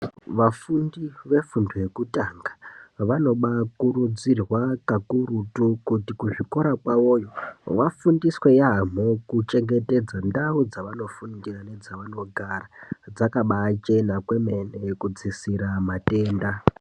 Vafundi vefundo yekutanga, vanobaakurudzirwa kakurutu kuti kuzvikora kwavoyo, vafundiswe yamho kuchengetedza ndau dzavanofundira nedzavanogara dzakabaachena kwemene kudzisira matenda.